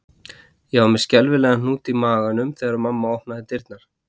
Ég var með skelfilegan hnút í maganum þegar mamma opnaði dyrnar